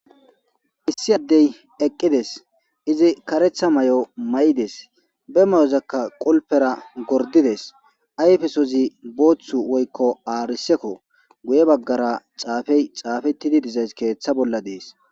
Issi addey eqqides izi karetha may'o ma'ides be mayozakka qulpera gordides ayfesozi booththu woykko aarisekko guye baggara xaafey xaafettidi dizays keeththa bolla dees.